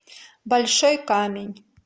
большой камень